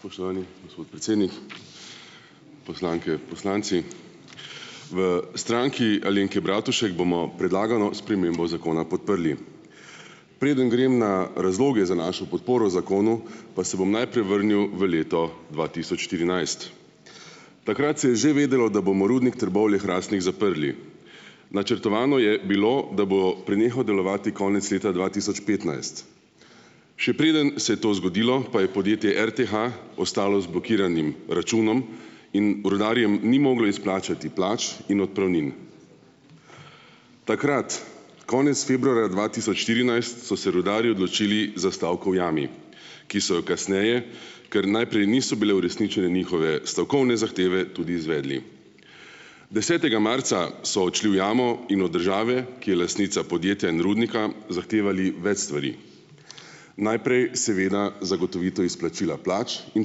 Spoštovani gospod predsednik, poslanke, poslanci! V Stranki Alenke Bratušek bomo predlagano spremembo zakona podprli. Preden grem na razloge za našo podporo zakonu pa se bom najprej vrnil v leto dva tisoč štirinajst. Takrat se je že vedelo, da bomo rudnik Trbovlje-Hrastnik zaprli. Načrtovano je bilo, da bo prenehal delovati konec leta dva tisoč petnajst. Še preden se je to zgodilo, pa je podjetje RTH ostalo z blokiranim računom in rudarjem ni moglo izplačati plač in odpravnin. Takrat konec februarja dva tisoč štirinajst so se rudarji odločili za stavko v jami, ki so jo kasneje, ker najprej niso bile uresničene njihove stavkovne zahteve, tudi izvedli. Desetega marca so odšli v jamo in od države, ki je lastnica podjetja in rudnika, zahtevali več stvari, najprej seveda zagotovitev izplačila plač in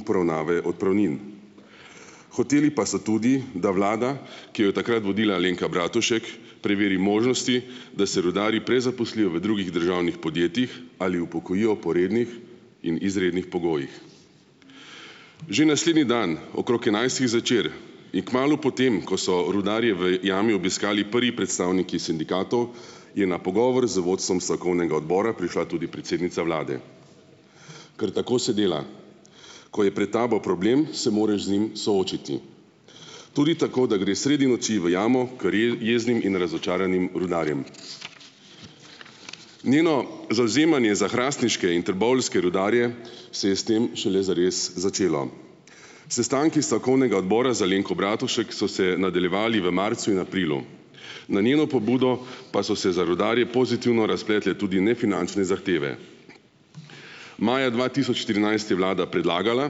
poravnave odpravnin. Hoteli pa so tudi da vlada, ki jo je takrat vodila Alenka Bratušek preveri možnosti, da se rudarji prezaposlijo v drugih državnih podjetjih ali upokojijo po rednih in izrednih pogojih. Že naslednji dan, okrog enajstih zvečer, in kmalu po tem, ko so rudarje v jami obiskali prvi predstavniki sindikatov, je na pogovor z vodstvom stavkovnega odbora prišla tudi predsednica vlade, ker tako se dela, ko je pred tabo problem, se moraš z njim soočiti, tudi tako da greš sredi noči v jamo ker jeznim in razočaranim rudarjem. Njeno zavzemanje za hrastniške in trboveljske rudarje se je s tem šele zares začelo. Sestanki strokovnega odbora z Alenko Bratušek so se nadaljevali v marcu in aprilu, na njeno pobudo pa so se za rudarje pozitivno razpletle tudi nefinančne zahteve. Maja dva tisoč štirinajst je vlada predlagala,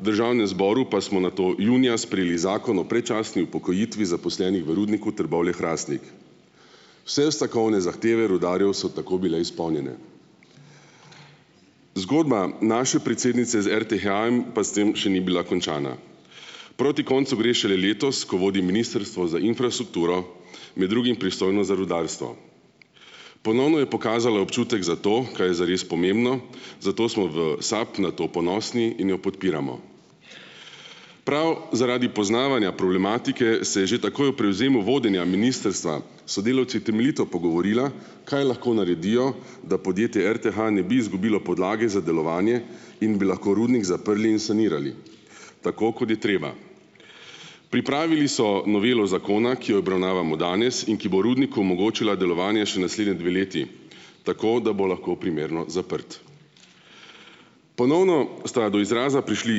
v državnemu zboru pa smo nato junija sprejeli zakon o predčasni upokojitvi zaposlenih v rudniku Trbovlje-Hrastnik. Vse stavkovne zahteve rudarjev so tako bile izpolnjene. Zgodba naše predsednice z RTH-jem pa s tem še ni bila končana. Proti koncu gre šele letos, ko vodi Ministrstvo za infrastrukturo, med drugim pristojno za rudarstvo. Ponovno je pokazala občutek za to, kaj je zares pomembno, zato smo v SAB na to ponosni in jo podpiramo. Prav zaradi poznavanja problematike se je že takoj ob prevzemu vodenja ministrstva s sodelavci temeljito pogovorila, kaj lahko naredijo, da podjetje RTH ne bi izgubilo podlage za delovanje in bi lahko rudnik zaprli in sanirali tako, kot je treba. Pripravili so novelo zakona, ki jo obravnavamo danes in ki bo rudniku omogočila delovanje še naslednji dve leti, tako da bo lahko primerno zaprt. Ponovno sta do izraza prišli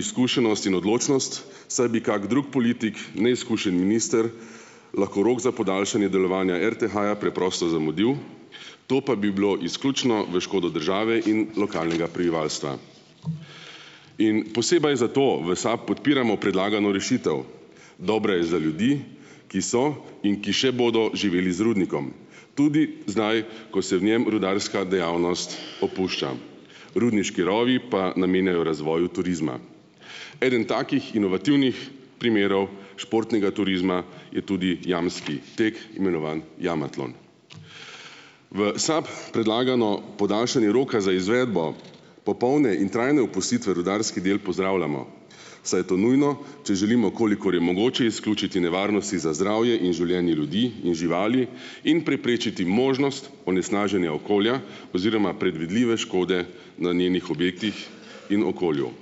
izkušenost in odločnost, saj bi kak drug politik neizkušen minister lahko rok za podaljšanje delovanja RTH-ja preprosto zamudil, to pa bi bilo izključno v škodo države in lokalnega prebivalstva. In posebej zato v SAB podpiramo predlagano rešitev. Dobra je za ljudi, ki so in ki še bodo živeli z rudnikom tudi zdaj, ko se v njem rudarska dejavnost opušča, rudniški rovi pa namenjajo razvoju turizma. Eden takih inovativnih primerov športnega turizma je tudi jamski tek, imenovan jamatlon. V SAB predlagano podaljšanje roka za izvedbo popolne in trajne opustitve rudarskih del pozdravljamo, saj je to nujno, če želimo, kolikor je mogoče, izključiti nevarnosti za zdravje in življenje ljudi in živali in preprečiti možnost onesnaženja okolja oziroma predvidljive škode na njenih objektih in okolju.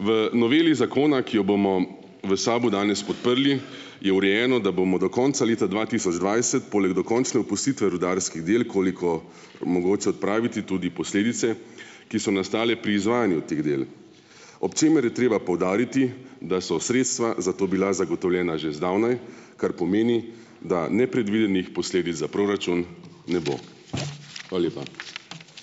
V noveli zakona, ki jo bomo v SAB-u danes podprli, je urejeno, da bomo do konca leta dva tisoč dvajset poleg dokončne opustitve rudarskih del, koliko omogoča odpraviti tudi posledice, ki so nastale pri izvajanju teh del, ob čemer je treba poudariti, da so sredstva za to bila zagotovljena že zdavnaj, kar pomeni, da nepredvidenih posledic za proračun ne bo. Hvala lepa.